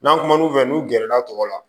N'an kumana u fɛ n'u gɛrɛla tɔgɔ la